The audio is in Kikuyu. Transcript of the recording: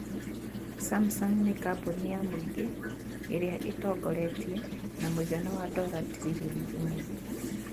samsung ni kambuni ya mũingĩ ĩrĩa ĩtongoretie na mũigana wa dora tiririoni imwe